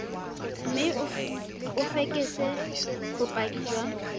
mme o fekese bopaki jwa